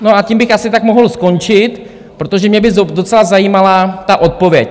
No a tím bych asi tak mohl skončit, protože mě by docela zajímala ta odpověď.